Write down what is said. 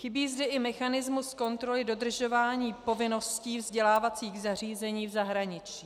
Chybí zde i mechanismus kontroly dodržování povinností vzdělávacích zařízení v zahraničí.